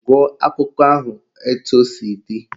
Gụọ akụkọ ahụ etu o si dị!